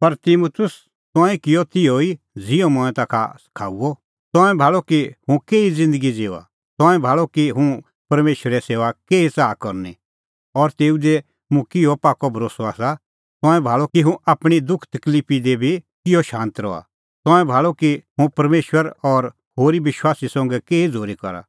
पर तिमुतुस तंऐं किअ तिहअ ई ज़िहअ मंऐं ताखा सखाऊअ त तंऐं भाल़अ कि हुंह केही ज़िन्दगी ज़िऊआ तंऐं भाल़अ कि हुंह परमेशरे सेऊआ केही च़ाहा करनी और तेऊ दी मेरअ किहअ पाक्कअ भरोस्सअ आसा तंऐं भाल़अ कि हुंह आपणीं दुखतकलिफी दी बी किहअ शांत रहा तंऐं भाल़अ कि हुंह परमेशर और होरी विश्वासी संघै केही झ़ूरी करा